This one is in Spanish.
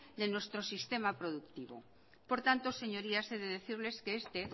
de nuestro sistema productivo por tanto señorías he de decirles que este